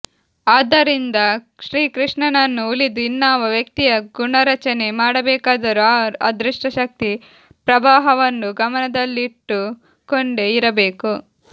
ಆದ್ದರಿಂದ ಶ್ರೀಕೃಷ್ಣನನ್ನು ಉಳಿದು ಇನ್ನಾವ ವ್ಯಕ್ತಿಯ ಗುಣರಚನೆ ಮಾಡಬೇಕಾದರೂ ಈ ಅದೃಷ್ಟಶಕ್ತಿ ಪ್ರವಾಹವನ್ನು ಗಮನದಲ್ಲಿ ಇಟ್ಟುಕೊಂಡೇ ಇರಬೇಕು